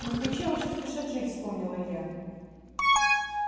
москвичи очень спешат жить вспомнил илья